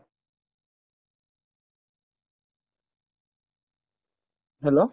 hello